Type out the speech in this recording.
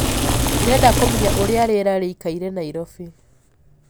ndĩrenda kumenya ũrĩa rĩera rĩĩkaĩre naĩrobĩ